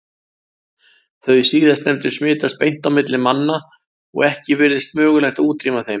Þau síðastnefndu smitast beint á milli manna og ekki virðist mögulegt að útrýma þeim.